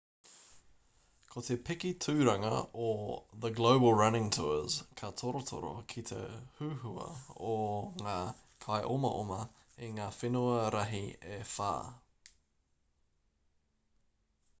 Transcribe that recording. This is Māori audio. ko te piki tūranga o the global running tours ka torotoro ki te huhua o ngā kaiomaoma i ngā whenua rahi e whā